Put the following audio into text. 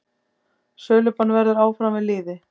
Sölubann verður áfram við lýði.